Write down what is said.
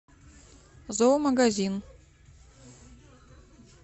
зоомагазин